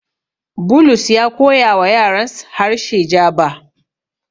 Bulus ya koyawa yarans harshe Jaba.